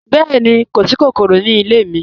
Bẹẹ̀ni, kò sí kòkòrò ní ilẹ̀ mi.